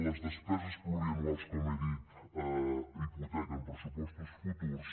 les despeses plurianuals com he dit hipotequen pressupostos futurs